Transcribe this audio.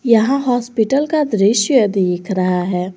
यहां हॉस्पिटल का दृश्य दिख रहा है।